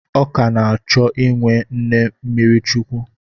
Ọ ka na-achọ inwe nne mmiri chukwu.